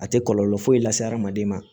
A tɛ kɔlɔlɔ foyi lase hadamaden ma